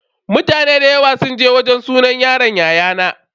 Mutane da yawa sun je sunan yaron yayana.